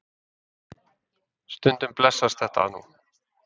Stundum blessast þetta nú.